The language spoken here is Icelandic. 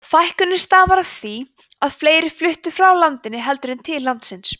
fækkunin starfar af því að fleiri fluttu frá landinu heldur en til landsins